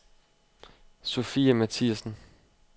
Sofie Mathiasen